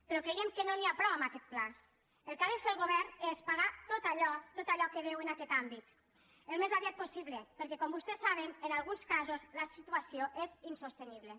però creiem que no n’hi ha prou amb aquest pla el que ha de fer el govern és pagar tot allò que deu en aquest àmbit al més aviat possible perquè com vostès saben en alguns casos la situació és insostenible